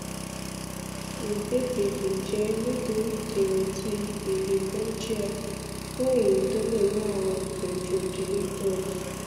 igbegbeji jẹ nitori idena ti igi bronchial fun eyi ti o le mu awọn bronchodilators